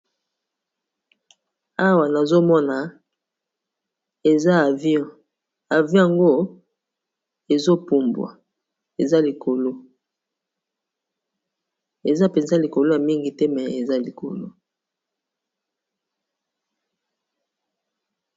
awa nazomona eza avio avion ango ezopumbwa eza likolo eza mpenza likolo ya mingi te me eza likolo